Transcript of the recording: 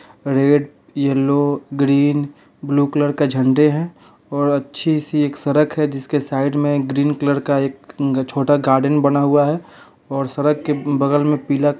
red yellow green blue colour का झंडे है और अच्छी सी एक सड़क है जिसके साइड में ग्रीन कलर का एक छोटा गार्डन बना हुआ है और सड़क के बगल में पीला --